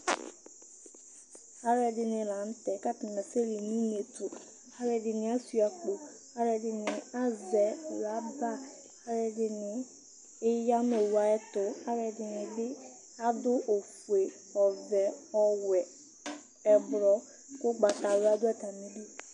Aluɛɖini la nutɛ, ku atani asɛ li nu uneɛtu Aluɛɖini ashua akpo, aluɛɖini azɛ loba, aliɛɖini eya nu owu ayɛtu Ɛdini bi aɖu awu ofue, ɔvɛ, ɔwɛ Ɛkplɔ ugbawla du atami li